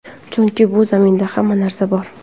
Chunki bu zaminda hamma narsa bor.